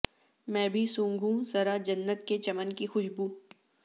میں بھی سونگھوں ذرا جنت کے چمن کی خوشبو